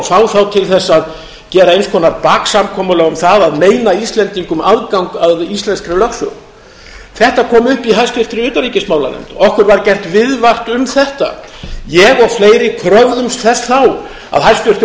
fá þá til þess að gera eins konar baksamkomulag um það að meina íslendingum aðgang að íslenskri lögsögu þetta kom upp í háttvirtri utanríkismálanefnd okkur var gert viðvart um þetta ég og fleiri kröfðumst þess þá að hæstvirtur